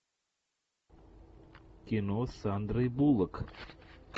кино с сандрой буллок